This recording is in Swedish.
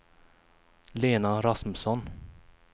Lena Rasmusson